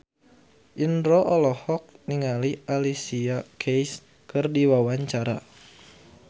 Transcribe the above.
Indro olohok ningali Alicia Keys keur diwawancara